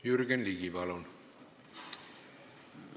Jürgen Ligi, palun!